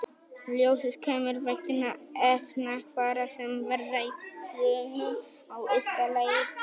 Ljósið kemur vegna efnahvarfa sem verða í frumum á ysta lagi dýranna.